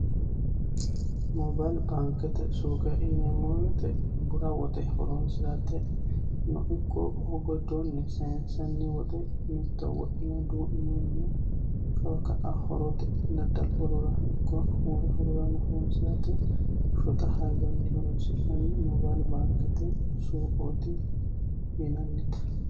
Moobile baankete suuqo yineemmo woyte bura woxeno horonsirateno ikko giddoni saynsanni woxe duu'ninoonniha kawa ka'a horonsirate woyi wole hajorano horonsirate shotta hayyonni horonsinanite moobile baankete suuqeti.